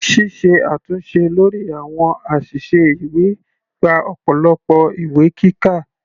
Ṣíṣe àtúnṣe lórí àwọn àṣìṣe ìwé gba ọ̀pọ̀lọpọ̀ ìwé kíkà.